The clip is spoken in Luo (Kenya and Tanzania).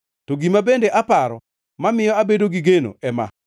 To gima bende aparo mamiyo abedo gi geno ema: